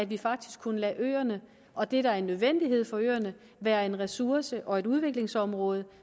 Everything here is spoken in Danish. vi faktisk kunne lade øerne og det der er en nødvendighed for øerne være en ressource og et udviklingsområde